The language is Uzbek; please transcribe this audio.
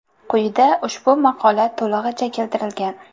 Quyida ushbu maqola to‘lig‘icha keltirilgan.